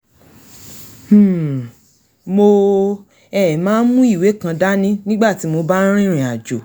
um mo um máa ń mú ìwé kan dání nígbà tí mo bá ń rìnrìn àjò